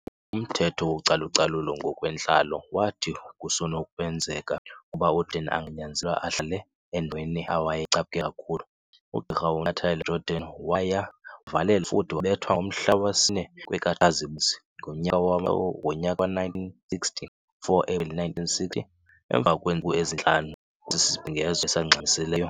Umthetho wacalucalulo ngokwentlalo wathi kusenokwenzeka ukuba uJordan anganyanzelwa ahlale endaweni awayeyicaphukela kakhulu ugqirha uNtantala- Jordan. Waya wavalelwa futhi wabethwa ngomhla wesine kwekaTshazimpunzi ngonyaka we-1960 4 April 1960, emva kwentsuku ezintlanu kwesibhengezo esingxamisileyo.